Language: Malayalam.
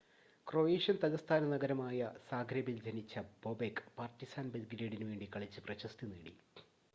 ക്രൊയേഷ്യൻ തലസ്ഥാനമായ സാഗ്രെബിൽ ജനിച്ച ബൊബെക് പാർട്ടിസാൻ ബെൽഗ്രേഡിനു വേണ്ടി കളിച്ച് പ്രശസ്തി നേടി